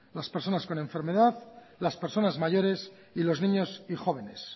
personas con enfermedad las personas mayores y los niños y jóvenes